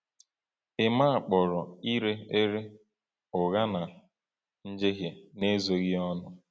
Emma kpọrọ ire ere “ụgha na njehie” n’ezoghị ọnụ.